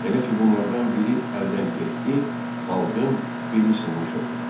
Elə ki bunlardan biri əldən getdi, xalqın beli sınmış olur.